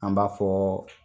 An b'a fɔ